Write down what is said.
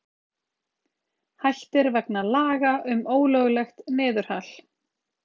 Hættir vegna laga um ólöglegt niðurhal